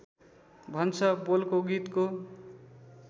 भन्छ बोलको गीतको